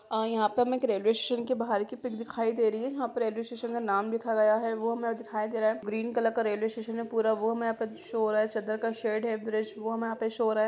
अ यहाँ पे हमें रेलवे स्टेशन की बाहर की पिक दिखाई दे रही है जहँ पे रेलवे स्टेशन का नाम लिखा गया है वो हमें दिखाई दे रहा है ग्रीन कलर का रेलवे स्टेशन है पूरा वो हमें यहाँ पे शो हो रहा है चद्दर का शेड है ब्रिज यहाँ पे वो हमें शो हो रहा है।